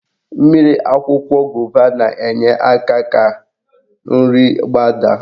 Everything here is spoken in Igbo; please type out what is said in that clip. Mmiri akwụkwọ gova na-enye aka ka nri gbadaa.